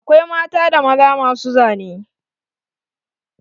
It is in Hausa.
Akwai mata da maza masu zane.